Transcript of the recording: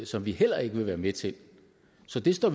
som vi heller ikke vil være med til så vi står